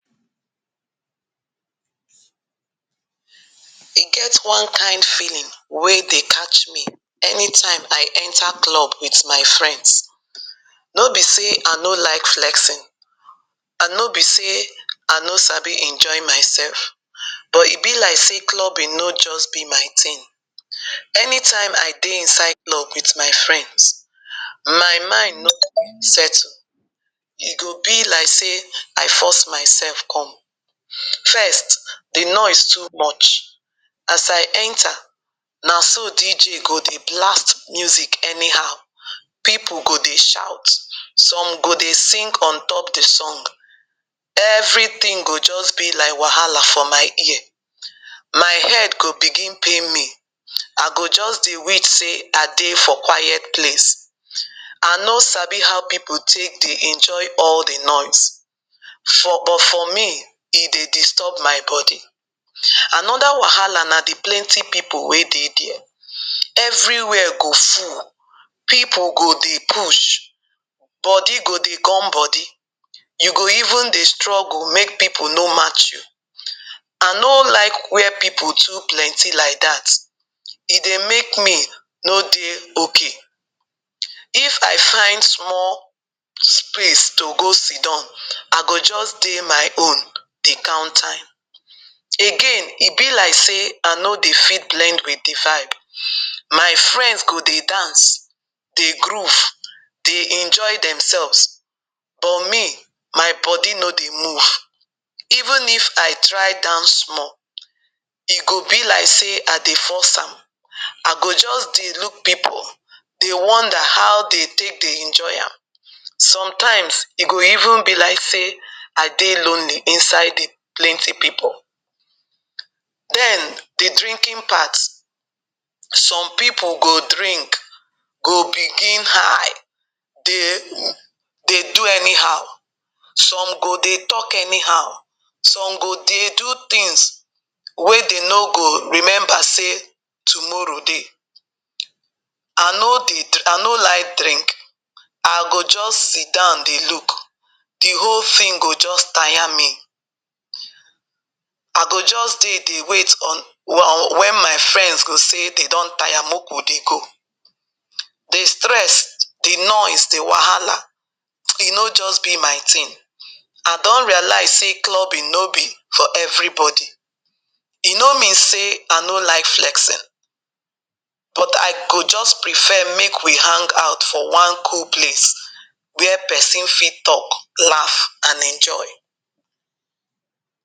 E get one kain feeling wey dey catch me anytime I enter club with my friends. No be sey I no like flexing, an no be sey I no sabi enjoy mysef, but e be like sey clubbing no juz be my tin. Anytime I dey inside club with my friends, my mind no settle. E go be like sey I force mysef come. First, the noise too much. As I enter, na so DJ go dey blast music anyhow, pipu go dey shout, some go dey sing on top the song. Everything go juz be like wahala for my ear. My head go begin pain me, I go juz dey wish sey I dey for quiet place. I no sabi how pipu take dey enjoy all the noise. But for me, e dey disturb my body. Another wahala na the plenty pipu wey dey there. Everywhere go full. Pipu go dey push. Body go dey gum body. You go even dey struggle make pipu no match you. I no like where pipu too plenty like dat. E dey make me no dey okay. If I find small space to go sit down, I go juz dey my own dey count time. Again, e be like sey I no dey fit blend with the vibe. My friends go dey dance, dey groove, dey enjoy themselves, but me, my body no dey move. Even if I try dance small, e go be like sey I dey force am. I go juz dey look pipu, dey wonder how de take dey enjoy am. Sometimes, e go even be like sey I dey lonely inside the plenty pipu. Then, the drinking part. Some pipu go drink, go begin high, dey do anyhow. Some go dey talk anyhow, some go dey do tins wey de no go remember sey tomorrow dey. I no dey I no like drink. I go juz sit down dey look. The whole tin go juz taya me. I go dey, dey wait wen my friends go say de don taya make we dey go. The stress, the noise, the wahala, e no juz be my tin. I don realize sey clubbing no be for everybody. E no mean sey I no like flexing, but I go juz prefer make we hang out for one cool place where peson fit talk, laugh, and enjoy.